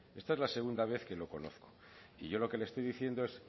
esta es la segunda vez que lo conozco y yo lo que le estoy diciendo es